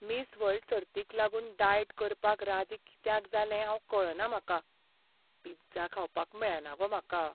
Miss world सर्तीक लागून diet करपाक राजी कित्याक जालें हांव कळना म्हाका. पिझ्झा खावपाक मेळना गो म्हाका.